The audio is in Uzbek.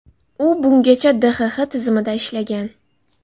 U bungacha DXX tizimida ishlagan.